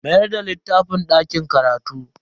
Mayar da littafin dakin karatu.